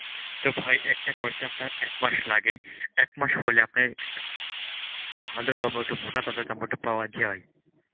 তো ভাই একটা করতে আপনার এক মাস লাগে. একমাস হলে আপনার ভালো টমেটো, মোটা তাজা টমেটো পাওয়া যায়.